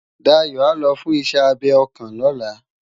Dayo á lò fùn iṣè ábé òkán lòlá